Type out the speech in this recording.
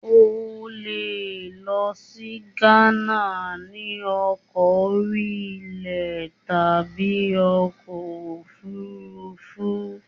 O le lọ sí Gánà ni ọkọ̀ orí ilẹ̀ tàbí ọkọ̀ òfuurufú.